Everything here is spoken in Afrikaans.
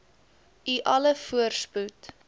u alle voorspoed